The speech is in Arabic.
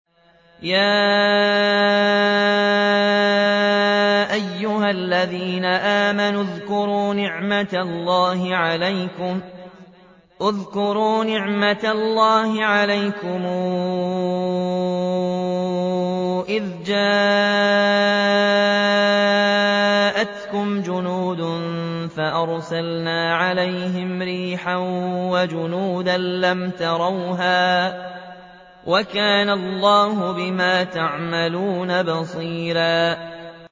يَا أَيُّهَا الَّذِينَ آمَنُوا اذْكُرُوا نِعْمَةَ اللَّهِ عَلَيْكُمْ إِذْ جَاءَتْكُمْ جُنُودٌ فَأَرْسَلْنَا عَلَيْهِمْ رِيحًا وَجُنُودًا لَّمْ تَرَوْهَا ۚ وَكَانَ اللَّهُ بِمَا تَعْمَلُونَ بَصِيرًا